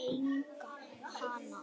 eiga hana?